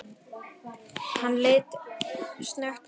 Hann leit snöggt á hana.